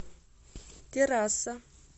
террасса